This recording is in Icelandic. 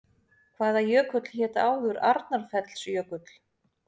Hvaða jökull hét áður Arnarfellsjökull?